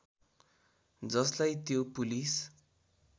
जसलाई त्यो पुलिस